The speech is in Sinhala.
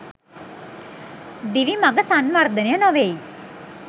දිවි මඟ සංවර්ධනය නොවෙයි.